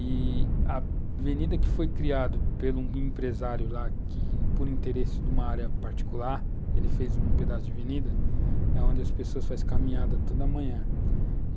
E a avenida que foi criada por um empresário lá que, por interesse de uma área particular, ele fez um pedaço de avenida, é onde as pessoas fazem caminhada toda manhã.